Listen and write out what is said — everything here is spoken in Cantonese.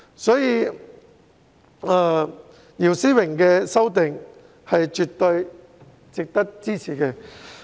因此，姚思榮議員的修正案絕對值得支持。